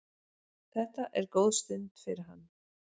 Þetta er góð stund fyrir hann.